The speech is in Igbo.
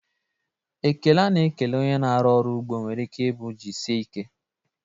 Ekele a na-ekele onye na-arụ ọrụ ugbo nwere ike ịbụ "jisie ike"